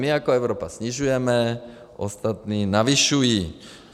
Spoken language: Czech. My jako Evropa snižujeme, ostatní navyšují.